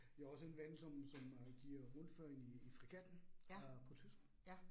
Jeg har også en ven, som som øh giver rundvisninger i fregatten øh på Tyskland